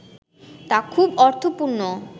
তা খুব অর্থপূর্ণ